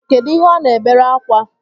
Kedụ ihe ọ na-ebere akwa?